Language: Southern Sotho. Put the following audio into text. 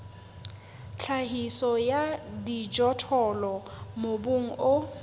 tlhahiso ya dijothollo mobung o